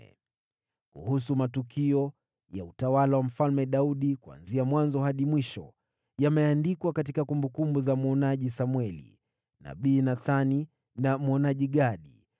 Kuhusu matukio ya utawala wa Mfalme Daudi, kuanzia mwanzo hadi mwisho, yameandikwa katika kumbukumbu za mwonaji Samweli, na kumbukumbu za nabii Nathani na kumbukumbu za mwonaji Gadi,